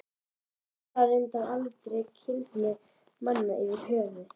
Hann talar reyndar aldrei um kynhneigð manna yfirhöfuð.